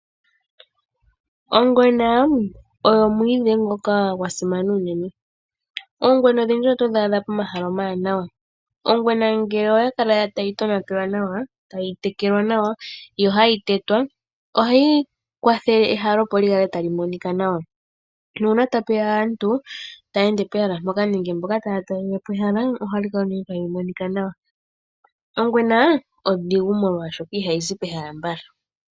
Ongwena oyo omwiidhi ngoka gwasimana unene. Oongwena odhindji oto dhi adha pomahala omawanawa. Ongwena ngele oya kala tayi tonatelwa nawa tayi tekelwa nawa yo hayi tetwa ohayi kwatha ehala opo li kale tali monika nawa nuuna tapuya aantu taya ende pehala mpoka nenge mboka taya talelepo ehala ohali kala tali monika nawa. Ongwena ondhigu molwaashoka ihayi zi pehala mbala.